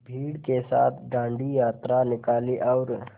भीड़ के साथ डांडी यात्रा निकाली और